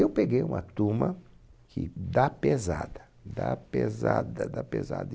Eu peguei uma turma que da pesada, da pesada, da pesada.